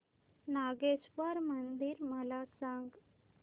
नागेश्वर मंदिर मला सांग